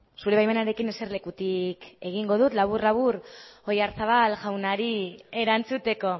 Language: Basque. zure baimenarekin eserlekutik egingo dut labur labur oyarzabal jaunari erantzuteko